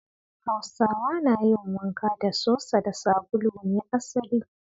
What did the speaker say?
Hausawa na yin wanka da sosa da sabulu ne asali.